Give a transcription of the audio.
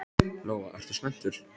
Lóa: Ertu spenntur?